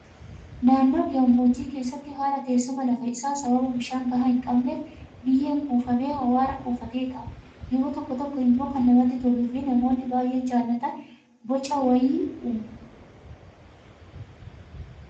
Naannoo gammoojjii keessatti haala teessuma lafa isaa sababa bishaan gahaa hin qabneef biyyeen kuufamee awwaara kuufatee taa'a. Yeroo tokko tokko immoo kan namatti toluu fi namoonni baay'een jaallatan boca wayii uuma.